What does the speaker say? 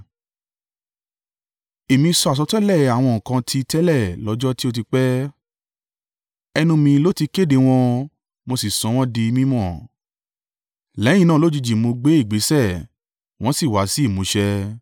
Èmi sọ àsọtẹ́lẹ̀ àwọn nǹkan ti tẹ́lẹ̀ lọ́jọ́ tó ti pẹ́, ẹnu mi ló ti kéde wọn, mo sì sọ wọ́n di mí mọ̀; lẹ́yìn náà lójijì mo gbé ìgbésẹ̀, wọ́n sì wá sí ìmúṣẹ.